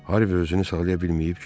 Harvi özünü saxlaya bilməyib güldü.